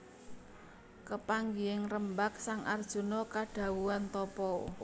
Kepanggihing rembag sang Arjuna kadhawuhan tapa